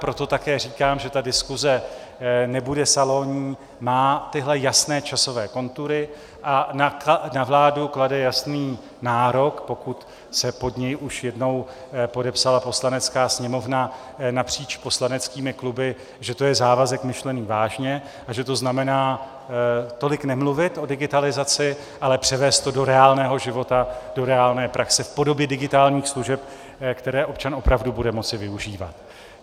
Proto také říkám, že ta diskuse nebude salonní, má tyhle jasné časové kontury a na vládu klade jasný nárok, pokud se pod něj už jednou podepsala Poslanecká sněmovna napříč poslaneckými kluby, že to je závazek myšlený vážně a že to znamená tolik nemluvit o digitalizaci, ale převést to do reálného života, do reálné praxe v podobě digitálních služeb, které občan opravdu bude moci využívat.